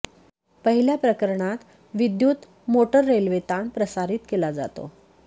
पहिल्या प्रकरणात विद्युत मोटर रेल्वे ताण प्रसारित केला जातो